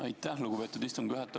Aitäh, lugupeetud istungi juhataja!